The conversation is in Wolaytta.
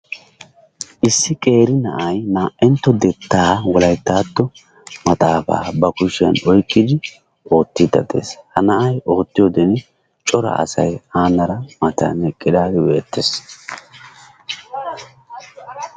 Issi qeeri na"ay na"antto dettaa Wolayttatto maxaafa ba kushshiyaan oyqqidi oottide de'ees. Ha na'ay oottitoode cora asay anara matan eqqidaagee beettes.